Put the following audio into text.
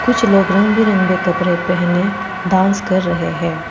कुछ लोग रंग बिरंगे कपड़े पहने डांस कर रहे है।